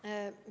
Aitäh!